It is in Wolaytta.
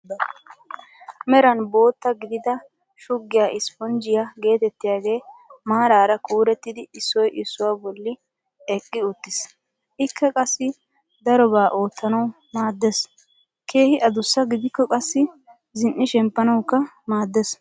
Meran bootta gidida shuggiyaa isiponjjiyaa getettiyaagee maarara kurettidi issoy issuwaa bolli eqqi uttiis. ikka qassi darobaa oottanwu maaddees. keehi adussaa gidikko qassi zin"i shemmpanawukka maaddees.